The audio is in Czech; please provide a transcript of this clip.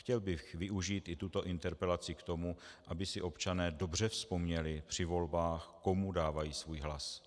Chtěl bych využít i tuto interpelaci k tomu, aby si občané dobře vzpomněli při volbách, komu dávají svůj hlas.